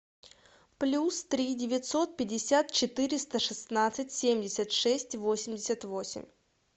плюс три девятьсот пятьдесят четыреста шестнадцать семьдесят шесть восемьдесят восемь